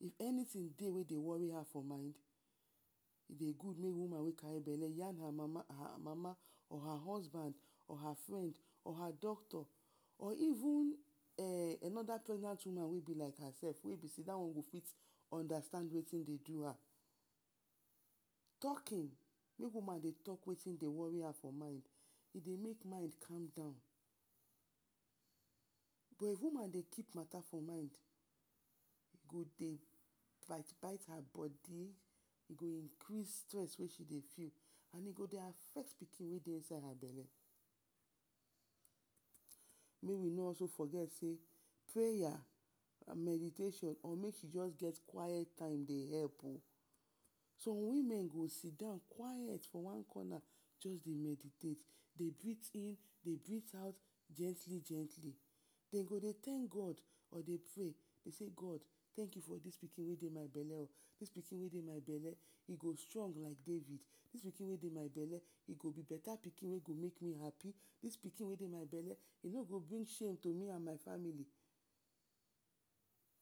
If ant in wey dey wori her for mind, e dey gud wey woman wey kari bele yan her mama or her husband or her frend, her doctor or even anoda pregnant woman wey be like her sef wey be sey dat one go fit ondastand wetin dey do am. talkin, make woman dey talk wetin dey wori her fo mind, e dey make mind come down but if woman dey kip mata for mind, e go dey bite-bite her bodi, e go increase stress wey she dey feel and e go dey affect pikin wey dey for inside her bele. Mey we no also forget sey, preya and meditation or make she just get quit time dey help o, som women go sit down quit for one corner just dey meditate dey brith in, dey brith out gently-gently. Dey go dey tank god or dey prey; god tank you for dis my bele o. Make we no also forget sey preya and meditation or make she just get quit time dey help o, som women go sit down quit for one corner just dey meditate, dey brith in dey brith out gently-gently. Dem go dey tank god or dey prey, de sey; god tank you for dis pikin wey dey my bele, dis pikin wey dey my bele e go strong like David, e go be beta pikin wey go make me hapi, dis pikin wey dey my bele, e no go bring shame to me and my famili.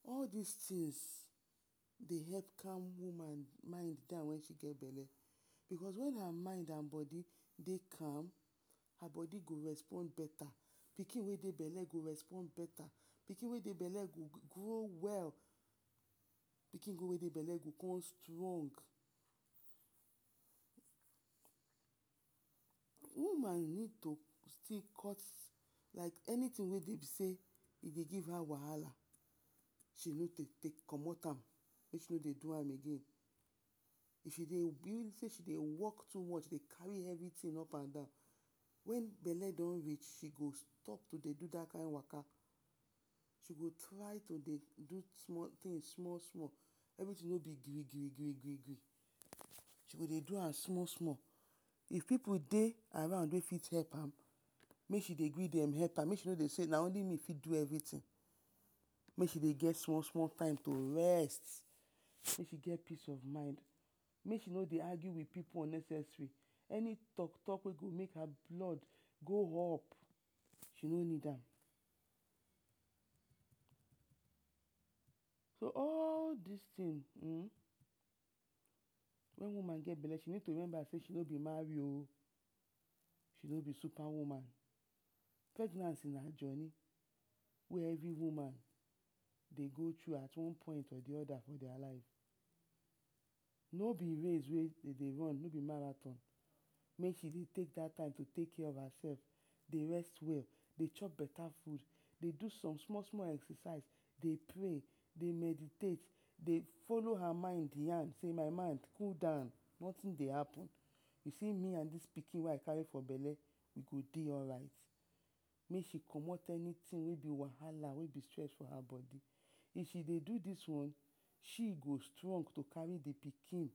All dis tins dey help calm woman mind down wen she get bele. Because when her mind and bodi dey calm, her bodi go respond beta, pikin wey dey her bele go respond beta, pikin wey dey bele go grow well, pikin wey dey bele go con strong. Woman need to still cut anytin wey dey give her wahala, she need to dey comot am make she no dey do am again. If she dey work too much dey kari everi tin upp and down, wen bele don reach she go stop to dey do dat kind waka, she go try to dey do small tins small-small. Everi tin no dey um she go dey do am small-small. If pipu dey around wey fit help her make she dey gree dem help am. Mey she no dey sey na only me fit do am, mey she dey get small time to rest, mey she dey get peace of mind, mey she no dey argue with pipu unnecessary, any talk-talk wey go make her blood go up, she no need am. So all dis tins, wen woman get bele she need to remember sey she no be mari o, she no be supa woman. Pregnancy na joni wey everi woman dey go thru at one point at the oda…….? No be race wey we dey run, make she take dat time to take care of hersef, dey rest well, dey chop beta fud, dey do some small-small exercise, dey prey, dey meditate, folo her mind yan sey my mind cool down noting dey happen. You see me and dis pikin wey I kari for bele, e go dey alright. Make she comot anytin wey be wahala wey be stress for her bodi. If she dey do dis one, she go strong to kari the pikin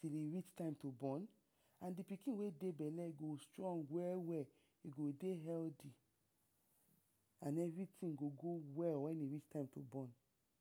till e reach time to born and the pikin wey dey bele, e go strong we-we, e go dey healthy and everi tin go go well wen e rich time to bon.